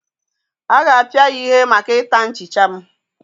A ga-apịa ya ihe maka ịta nchicha m